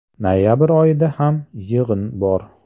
Noyabr oyida ham yig‘in bor.